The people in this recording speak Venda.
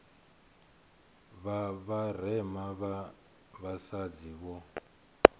vha vharema vha vhasadzi vho